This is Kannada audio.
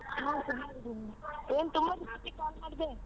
ಹ ಚೆನ್ನಾಗಿದೀನಿ ಏನ್ ತುಂಬಾ ಇವಸ ಆಗಿತ್ತು call ಮಾಡದೇ.